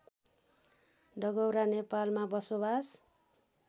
डगौरा नेपालमा बसोबास